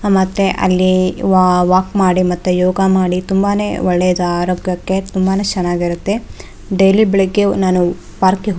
ಮತ್ತೆ ಅಲ್ಲಿ ವಾ ವಾಲ್ ಮಾಡಿ ಮತ್ತೆ ಯೋಗ ಮಾಡಿ ತುಂಬಾನೆ ಒಳೇದು ಆರೋಗ್ಯಕ್ಕೆ ತುಂಬಾನೆ ಚ್ಎನಾಗಿರುತ್ತೆ ಡೈಲಿ ಬೆಳಗ್ಗೆ ನಾನು ಅ ಪಾರ್ಕ್ ಗೆ ಹೋಗಿ --